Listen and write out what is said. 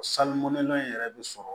Salimundon in yɛrɛ bɛ sɔrɔ